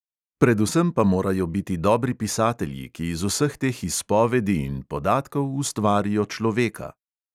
Predvsem pa morajo biti dobri pisatelji, ki iz vseh teh izpovedi in podatkov ustvarijo človeka.